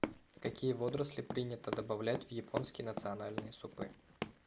какие водоросли принято добавлять в японские национальные супы